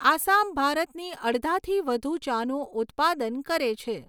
આસામ ભારતની અડધાથી વધુ ચાનું ઉત્પાદન કરે છે.